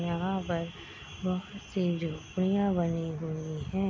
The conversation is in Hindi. यहां पे बहुत सी झोपड़िया बनी हुई है।